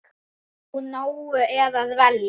Úr nógu er að velja!